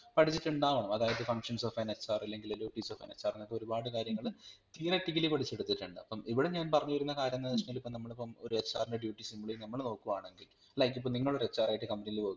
പഠിചിട്ടുണ്ടാവണം അതായത് Functions of anHR അല്ലെങ്കിൽ duties of anHR അങ്ങനത്തെ ഒരുപാട് കാര്യങ്ങൾ theoretically പഠിച്ചെടുത്തിട്ടുണ്ടാവു അപ്പം ഇവിടെ ഞാൻ പറഞ്ഞുവരുന്ന കാര്യംന്ന് വെച്ചഴിഞ്ഞാൽ ഇപ്പോ നമ്മളിപ്പം ഒരു HR ൻറെ duty simply നമ്മൾ നോക്കുവാണെങ്കിൽ like ഇപ്പം നിങ്ങൾ ഒരു HR ആയിട്ട് company ൽ work